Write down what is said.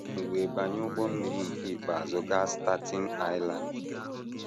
M wee banye ụgbọ mmiri nke ikpeazụ gaa Staten Island.